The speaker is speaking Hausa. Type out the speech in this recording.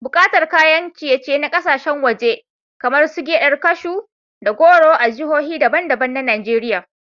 Buƙatar kayan ciye-ciye na kasashen waje kamar su gyaɗar kashu da goro a jihohi daban-daban na Najeriya.